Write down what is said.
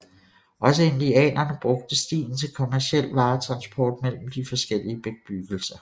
Også indianerne brugte stien til kommerciel varetransport mellem de forskellige bebyggelser